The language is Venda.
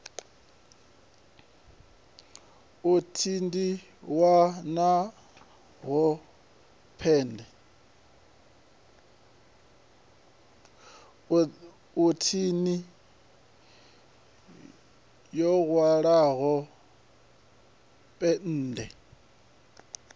hu thini yo hwalaho pennde